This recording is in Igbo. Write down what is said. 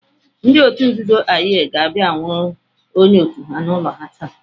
Ndị otu nzuzo Aye ga-abịa anwụrụ onye otu ha n'ụlọ ha taa.